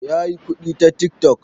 Ya yi kuɗi ta tik tok